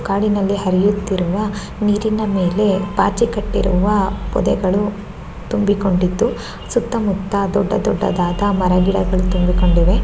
ಕಾಡಿನಲ್ಲಿ ಹರಿಯುತ್ತಿರುವ ನೀರಿನ ಮೇಲೆ ಪಾಚಿ ಕಟ್ಟಿರುವ ಪೊದೆಗಳು ತುಂಬಿ ಕೊಂಡಿದ್ದು ಸುತ್ತಮುತ್ತ ದೊಡ್ಡ ದೊಡ್ಡದಾದ ಮರಗಿಡಗಳು ತುಂಬಿಕೊಂಡಿವೆ.